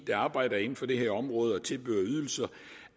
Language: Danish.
der arbejder inden for det her område og tilbyder ydelser